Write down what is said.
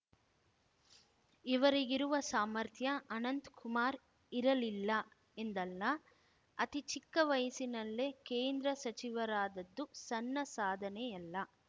ಇವರಿಗಿರುವ ಸಾಮರ್ಥ್ಯ ಅನಂತ್ ಕುಮಾರ್ ಇರಲಿಲ್ಲ ಎಂದಲ್ಲ ಅತಿ ಚಿಕ್ಕ ವಯಸ್ಸಿನಲ್ಲೇ ಕೇಂದ್ರ ಸಚಿವರಾದದ್ದು ಸಣ್ಣ ಸಾಧನೆಯಲ್ಲ